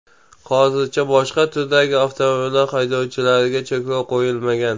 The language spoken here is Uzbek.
Hozircha boshqa turdagi avtomobillar haydovchilariga cheklov qo‘yilmagan.